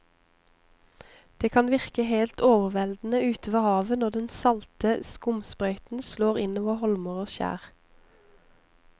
Det kan virke helt overveldende ute ved havet når den salte skumsprøyten slår innover holmer og skjær.